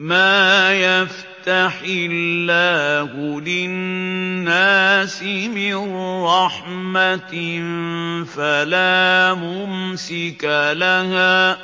مَّا يَفْتَحِ اللَّهُ لِلنَّاسِ مِن رَّحْمَةٍ فَلَا مُمْسِكَ لَهَا ۖ